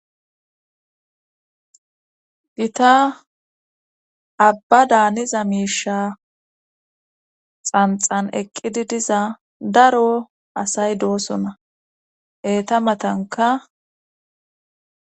Gita abba daaniza miisha xanxan eqqidi diza daro asay doosona eeta matanka